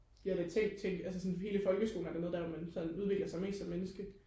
jeg har da selv tænkt altså sådan hele folkeskolen er da noget der hvor man sådan udvikler sig mest som menneske